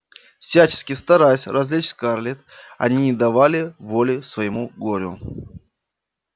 всячески стараясь развлечь скарлетт они не давали воли своему горю